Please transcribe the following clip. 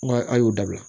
Nga a y'o dabila